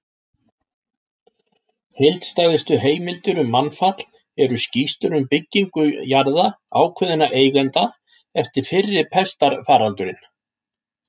Heildstæðustu heimildirnar um mannfall eru skýrslur um byggingu jarða ákveðinna eigenda eftir fyrri pestarfaraldurinn.